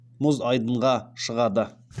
мұз айдынға шығады